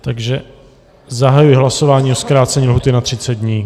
Takže zahajuji hlasování o zkrácení lhůty na 30 dní.